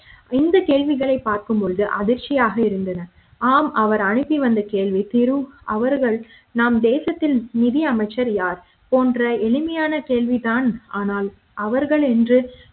இந்த கேள்விகளை பார்க்கும்போது அதிர்ச்சியாக இருந்தது ஆம் அவர் அனுகி வந்த கேள்வி திரு அவர்கள் நம் தேசத்தில் நிதி அமைச்சர் யார் போன்ற எளிமையான கேள்வி தான் ஆனால் அவர்கள் என்று